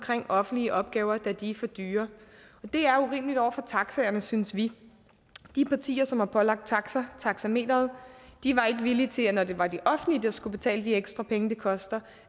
offentlige opgaver da de er for dyre og det er urimeligt over for taxaerne synes vi de partier som har pålagt taxaer taxameteret var ikke villige til når det var det offentlige der skulle betale de ekstra penge det koster